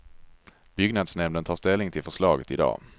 Byggnadsnämnden tar ställning till förslaget idag.